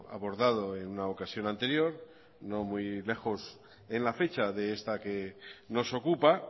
abordado en una ocasión anterior no muy lejos en la fecha de esta que nos ocupa